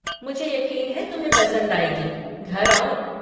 मुझे यक़ीन है तुम्हें पसंद आएगी, घर आओ।